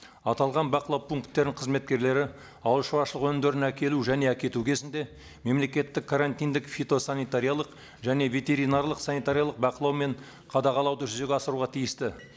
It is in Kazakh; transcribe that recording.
аталған бақылау пункттерінің қызметкерлері ауыл шаруашылығы өнімдерін әкелу және әкету кезінде мемлекеттік карантиндык фитосанитариялық және ветеринарлық санитариялық бақылау мен қадағалауды жүзеге асыруға тиісті